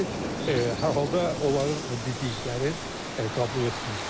İndi hər halda onların dediklərini qəbul etmirlər.